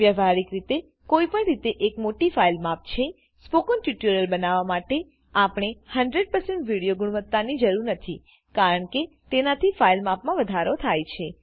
વ્યવહારિક રીતેકોઈ પણ રીતે એક મોટી ફાઈલ માપ છેસ્પોકન ટ્યુ્ટોરીઅલ બનાવવા માટેઆપણને 100160 વિડીઓ ગુણવત્તા ની જરૂર નથી કારણકે તેનાથી ફાઈલ માપમાં વધારો થાય છે